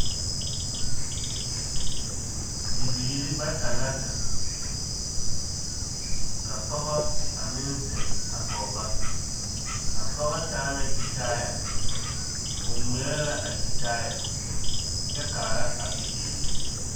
Bibiiri bata la zeŋ ka pɔge a meŋ zeŋ a kɔge ba a pɔge taa la gyitaaya o ŋmeɛrɛ la a gyitaaya kyɛ kaara a bibiiri.